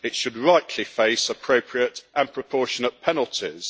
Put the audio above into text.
It should rightly face appropriate and proportionate penalties.